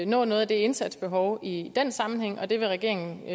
nå noget af det indsatsbehov i den sammenhæng det vil regeringen